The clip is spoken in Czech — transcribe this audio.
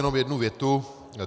Jenom jednu větu.